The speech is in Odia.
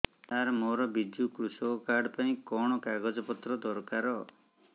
ସାର ମୋର ବିଜୁ କୃଷକ କାର୍ଡ ପାଇଁ କଣ କାଗଜ ପତ୍ର ଦରକାର